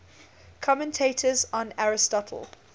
commentators on aristotle